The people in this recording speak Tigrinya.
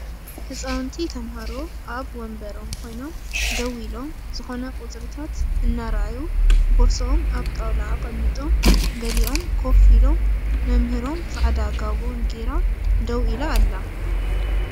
ህፃውንቲ ተማሃሮ ኣብ ወንበሮም ኮይኖም ደው ኢሎም ዝኮነ ቁፅርታት እናርኣዩ ቦርስኦም ኣብ ጣውላ ኣቀሚጦም ገሊኦም ኮፍ ኢሎም መምህሮም ፃዕዳ ጋቦን ጌራ ደው ኢላ ኣላ።